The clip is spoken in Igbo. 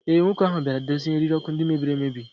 ee, nwoke ahụ bịara dozie eriri ọkụ ndị mebiri emebi